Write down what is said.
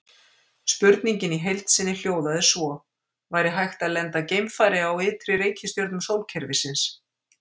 Spurningin í heild sinni hljóðaði svo: Væri hægt að lenda geimfari á ytri reikistjörnum sólkerfisins?